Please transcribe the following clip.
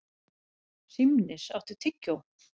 Hrímnir, áttu tyggjó?